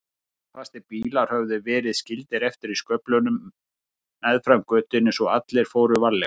Klossfastir bílar höfðu verið skildir eftir í sköflunum meðfram götunni svo allir fóru varlega.